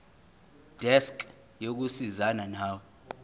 desk yokusizana nawe